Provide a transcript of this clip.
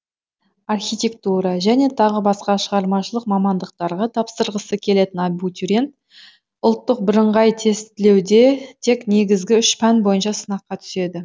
архитектура және тағы басқа шығармашылық мамандықтарға тапсырғысы келетін абутириент ұлттық бірыңғай тестілеуде тек негізгі үш пән бойынша сынаққа түседі